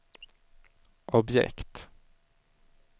objekt